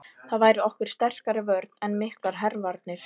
Það væri okkur sterkari vörn en miklar hervarnir.